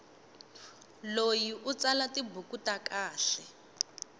loyi u tsala tibuku ta kahle